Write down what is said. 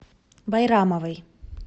байрамовой